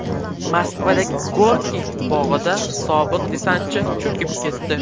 Moskvadagi Gorkiy bog‘ida sobiq desantchi cho‘kib ketdi.